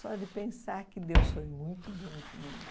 Só de pensar que Deus foi muito bom comigo.